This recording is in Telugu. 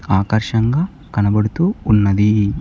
ఆకర్షంగా కనబడుతూ ఉన్నది.